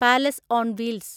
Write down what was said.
palace on wheels